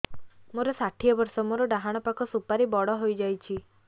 ମୋର ଷାଠିଏ ବର୍ଷ ମୋର ଡାହାଣ ପାଖ ସୁପାରୀ ବଡ ହୈ ଯାଇଛ